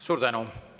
Suur tänu!